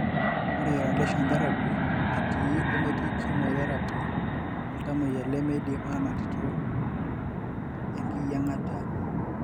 ore radiation therapy eti ometii chemotherapy oltamoyia lemidim anotito engiyiengata.